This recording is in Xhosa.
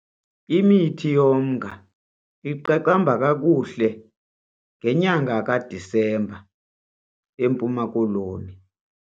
Imithi yomnga iqaqamba kakuhle ngenyanga kaDisemba eMpuma Koloni.